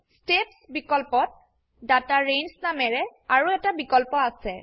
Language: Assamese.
ষ্টেপছ বিকল্পত ডাটা ৰেঞ্জ নামেৰে আৰু এটা বিকল্প আছে